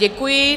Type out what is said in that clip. Děkuji.